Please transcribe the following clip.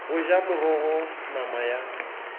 go ja morogo nama ya